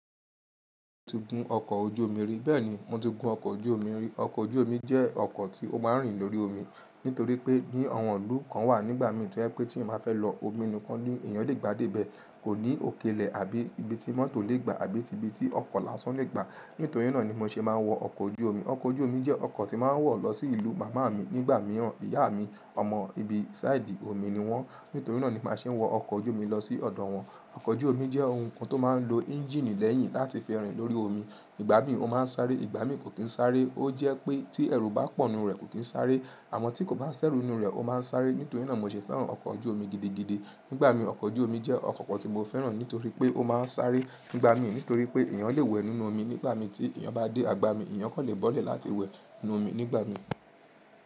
Mo ti gun ọkọ̀ ojú omi rí. Bẹ́ẹ̀ni, mo ti gun ọkọ̀ ojú omi rí. Ọkọ̀ ojú omi jẹ́ ọkọ̀ tí ó máa ń rìn lórí omi. Nítorí pé bí awọ́n ìlú kan wà nígbà mìí to je pe t'eeyan bá fẹ́ lọ, omi nìkan ni èèyàn le gbà dé ibẹ̀. Kò ní òkèlè àbí ibi tí mọ́tò lè gba àbí ibi tí ọkọ̀ lásán lè gba. Nítorí náà ni mo ṣe máa ń wọ ọkọ̀ ojú omi. Ọkọ̀ ojú omi jẹ́ ọkọ̀ tí máa ń wọ̀ lọ sí ìlú màmá mi nígbà mìíràn. Ìyá mi, ọmọ ibi sáìdì omi ni wọ́n. Nítorí náà ni màá ṣe wọ ọkọ̀ ojú omi lọ sí ọ̀dọ̀ wọn. Ọkọ̀ ojú omi jẹ́ ohun kan tó máa ń lo ẹ́ńjíìnì lẹ́yìn láti fi rìn lórí omi. Ìgbà mìí ó máa ń sáré, ìgbà mìíràn kò kíì sáré. Ó jẹ́ pé tí ẹ̀rù bá pọ̀ nínú rẹ̀ kò tíì sáré. Àmọ́ tí kò bá sẹ́rù nínú rẹ̀ ó máa ń sáré. Nítorí náà mo ṣe fẹ́ràn ọkọ̀ ojú omi gidigidi nígbà mìíràn. Ọkọ̀ ojú omi jẹ́ ọkọ̀ kan tí mo fẹ́ràn nítorí pé ó máa ń sáré nígbà mìíràn. Nítorí pé èèyàn lè wẹ̀ nínú omi nígbà tí èèyàn bá dé agbami, èèyàn kò lè bọ́lẹ̀ láti wẹ̀ nínú omi nígbà mìí.